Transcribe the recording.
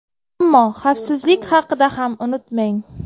Ammo xavfsizlik haqida ham unutmang!